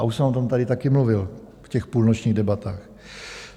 A už jsem o tom tady taky mluvil v těch půlnočních debatách.